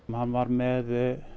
hann var með